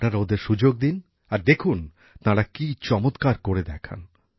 আপনারা ওদের সুযোগ দিন আর দেখুন তাঁরা কি কি দারুণ সব কাজ করে দেখান